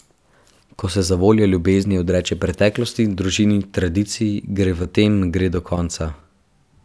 Ko se zavoljo ljubezni odreče preteklosti, družini, tradiciji, gre v tem gre do konca.